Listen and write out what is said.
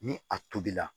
Ni a tobila